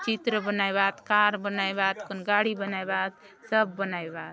चित्र बनाएवात कार बनाएवात गाड़ी बनाएवात सब बनायवात